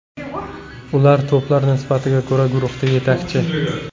Ular to‘plar nisbatiga ko‘ra guruhda yetakchi.